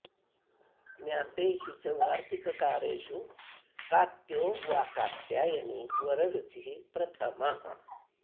ज्ञातेषु च वार्तिककारेषु कात्यो वा कात्यायनी वररुचिः प्रथमः